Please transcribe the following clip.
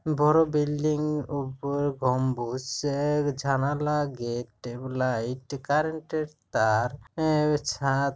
বড়ো বিল্ডিং ওপর বম্নুজ সে জানালা গেট এবং লাইট কার্রেন্টের তার আ-ও ছাদ--